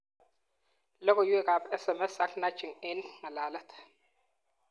Logoiwekab SMS ak 'nudging' eng ngalalet